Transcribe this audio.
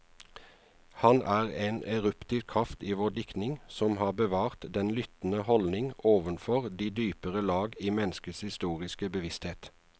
Han er en eruptiv kraft i vår diktning, som har bevart den lyttende holdning overfor de dypere lag i menneskets historiske bevissthet.